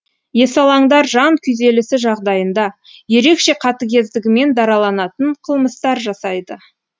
есалаңдар жан күйзелісі жағдайында ерекше қатігездігімен дараланатын қылмыстар жасайды